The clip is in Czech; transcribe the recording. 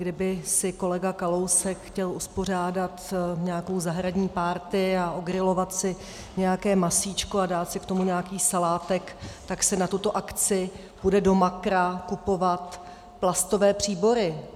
Kdyby si kolega Kalousek chtěl uspořádat nějakou zahradní party a ogrilovat si nějaké masíčko a dát si k tomu nějaký salátek, tak si na tuto akci půjde do Makra kupovat plastové příbory.